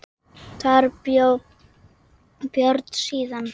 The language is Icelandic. Þar bjó Björn síðan.